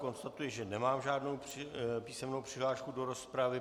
Konstatuji, že nemám žádnou písemnou přihlášku do rozpravy.